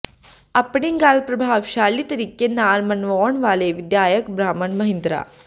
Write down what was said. ਆਪਣੀ ਗੱਲ ਪ੍ਰਭਾਵਸ਼ਾਲੀ ਤਰੀਕੇ ਨਾਲ ਮਨਵਾਉਣ ਵਾਲੇ ਵਿਧਾਇਕ ਬ੍ਰਹਮ ਮਹਿੰਦਰਾ